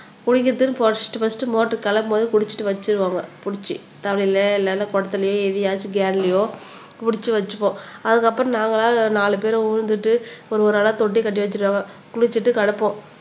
குடிக்கிறதுக்குன்னு first first motor கிளப்பும்போதே குடிச்சிட்டு வெச்சிடுவாங்க புடிச்சு தவளையிலேயோ இல்ல குடத்துலையோ எதுலயாச்சும் கேன்லயோ புடிச்சு வச்சுப்போம் அதுக்கப்புறம் நாங்களா நாலு பேரு விழுந்துட்டு ஒரு ஒரு ஆளா தொட்டி கட்டி வச்சிருவாங்க விழுந்துட்டு கிடப்போம்